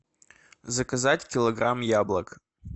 заказать килограмм яблок